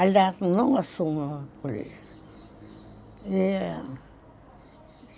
Aliás, não assumia política. Eh...